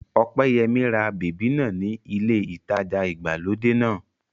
Ọpẹ́yẹmí ra bèbí náà ní ilé ìtajà ìgbàlódé náà